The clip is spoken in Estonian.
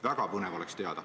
Väga põnev oleks teada.